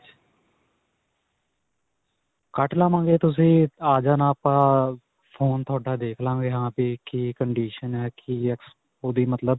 ਕੱਟ ਲਵਾਂਗੇ. ਤੁਸੀਂ ਆ ਜਾਣਾ ਆਪਾਂ ਫੋਨ ਤੁਹਾਡਾ ਦੇਖ ਲਵਾਂਗੇ. ਹਾਂ ਕੀ condition ਹੈ. ਕੀ ਆ ਓਹਦੀ ਮਤਲਬ.